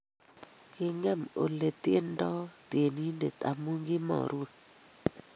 Kingem oleityendoi tyenindet amu kimarue